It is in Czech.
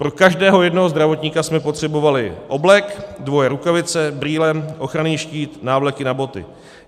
Pro každého jednoho zdravotníka jsme potřebovali oblek, dvoje rukavice, brýle, ochranný štít, návleky na boty.